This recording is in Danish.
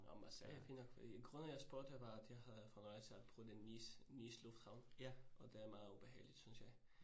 Nåh Marseille er fin nok fordi grunden jeg spurgte var, at jeg havde fra en rejse at prøve det Nice Nice lufthavn, og det er meget ubehageligt synes jeg